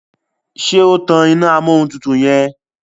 ṣe o tán iná Amóhuntutù yen?